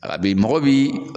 Abi mɔgɔ bi